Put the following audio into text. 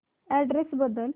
address बदल